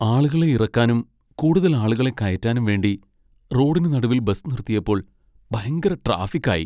ആളുകളെ ഇറക്കാനും, കൂടുതൽ ആളുകളെ കയറ്റാനും വേണ്ടി റോഡിന് നടുവിൽ ബസ് നിർത്തിയപ്പോൾ ഭയങ്കര ട്രാഫിക് ആയി.